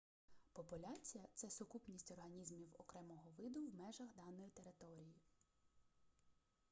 популяція це сукупність організмів окремого виду в межах даної території